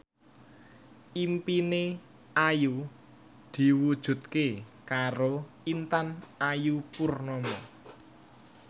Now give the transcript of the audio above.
impine Ayu diwujudke karo Intan Ayu Purnama